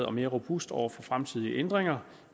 og mere robust over for fremtidige ændringer